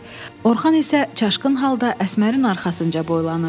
Orxan isə çaşqın halda Əsmərin arxasınca boylanırdı.